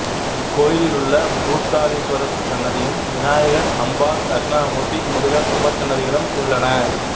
இக்கோயிலில் பூத்தாலிஸ்வரர் சன்னதியும் விநாயகர் அம்பாள் தட்சிணாமூர்திதி முருகர் உபசன்னதிகளும் உள்ளன